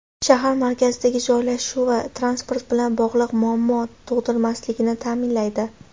Shahar markazidagi joylashuvi transport bilan bog‘liq muammo tug‘dirmasligini ta’minlaydi.